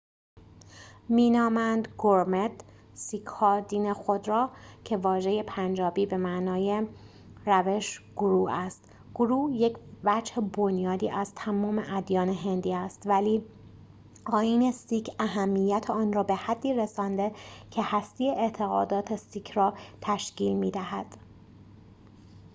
سیک‌ها دین خود را gurmat می‌نامند که واژه پنجابی به معنای روش گورو است گورو یک وجه بنیادی از تمام ادیان هندی است ولی آیین سیک اهمیت آن را به حدی رسانده که هسته اعتقادات سیک را تشکیل می‌دهد